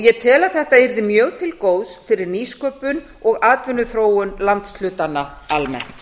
ég tel að þetta yrði mjög til góðs fyrir nýsköpun og atvinnuþróun landshlutanna almennt